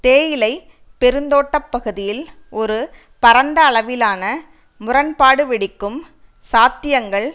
தேயிலைப் பெருந்தோட்ட பகுதியில் ஒரு பறந்து அளவிலான முரண்பாடுவெடிக்கும் சாத்தியங்கள்